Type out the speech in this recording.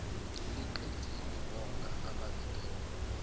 liqediwe bonga ababephendula